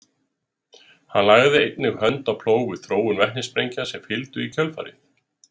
Hann lagði einnig hönd á plóg við þróun vetnissprengja sem fylgdu í kjölfarið.